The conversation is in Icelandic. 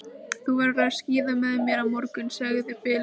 Þú verður að skíða með mér á morgun, sagði Bill.